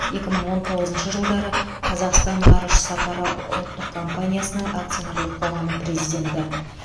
екі мың он тоғызыншы жылдары қазақстан ғарыш сапары ұлттық компаниясына акционерлік қоғамы президенті